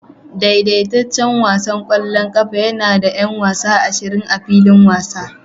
Daidaitaccen wasan ƙwallon ƙafa yana da 'yan wasa ashirin a filin wasa